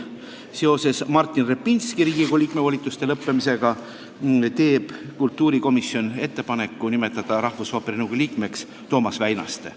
Seoses Martin Repinski Riigikogu liikme volituste lõppemisega teeb kultuurikomisjon ettepaneku nimetada rahvusooperi nõukogu liikmeks Toomas Väinaste.